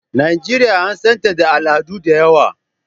Najeriya an san ta da al'adu da yawa.